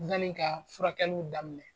Yani ka furakɛliw daminɛ.